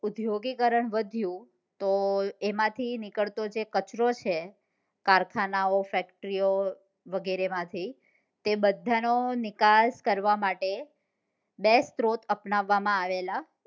ઉદ્યોગીકરણ વધ્યું તો તેમાંથી નીકળતો જે કચરો છે કારખાનાઓ factory ઓ વગેરે માંથી તે બધા નો નિકાસ કરવા માટે બે સ્ત્રોત અપનાવવામાં આવેલા